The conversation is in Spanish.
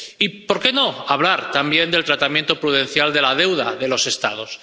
Y, ¿por qué no hablar también del tratamiento prudencial de la deuda de los Estados?